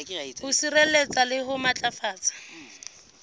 ho sireletsa le ho matlafatsa